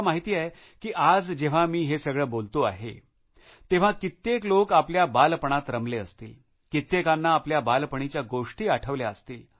मला माहिती आहे की आज जेव्हा मी हे सगळं बोलतो आहे तेव्हा कित्येक लोक आपल्या बालपणात रमले असतील कित्येकांना आपल्या बालपणीच्या गोष्टी आठवल्या असतील